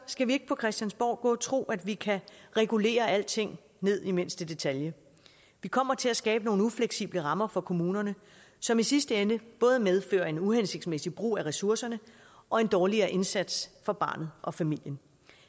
skal vi ikke på christiansborg gå og tro at vi kan regulere alting ned i mindste detalje vi kommer til at skabe nogle ufleksible rammer for kommunerne som i sidste ende både medfører en uhensigtsmæssig brug af ressourcerne og en dårligere indsats for barnet og familien